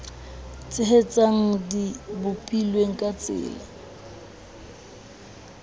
tshehetsang di bopilwe ka tsela